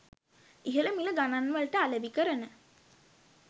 ඉහළ මිල ගණන්වලට අලෙවි කරන